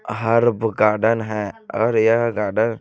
herb garden है और यह गार्डन --